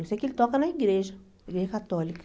Eu sei que ele toca na igreja, igreja católica.